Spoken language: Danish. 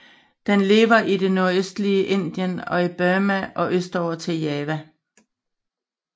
Den lever i det nordøstlige Indien og i Burma og østover til Java